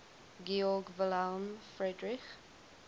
georg wilhelm friedrich